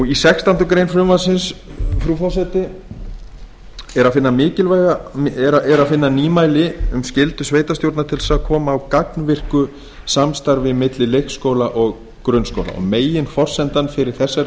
í sextándu grein frumvarpsins frú forseti er að finna nýmæli um skyldu sveitarstjórna til að koma á gagnvirku samstarfi milli leikskóla og grunnskóla meginforsendan fyrir þessari